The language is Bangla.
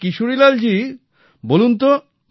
আচ্ছা কিশোরীলালজি বলুনতো